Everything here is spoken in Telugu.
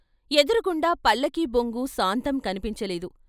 ఎదురు గుండా పల్లకిబొంగు సాంతం కనిపించలేదు.